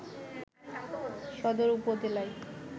সদর উপজেলায়